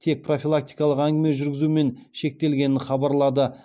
тек профилактикалық әңгіме жүргізумен шектелгенін хабарлады